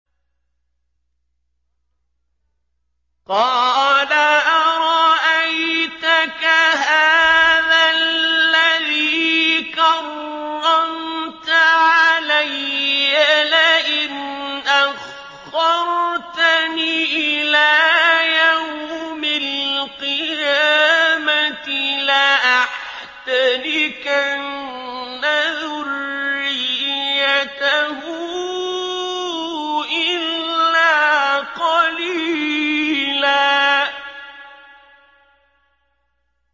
قَالَ أَرَأَيْتَكَ هَٰذَا الَّذِي كَرَّمْتَ عَلَيَّ لَئِنْ أَخَّرْتَنِ إِلَىٰ يَوْمِ الْقِيَامَةِ لَأَحْتَنِكَنَّ ذُرِّيَّتَهُ إِلَّا قَلِيلًا